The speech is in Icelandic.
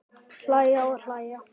Hlæja og hlæja.